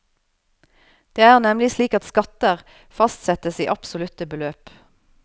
Det er nemlig slik at skatter fastsettes i absolutte beløp.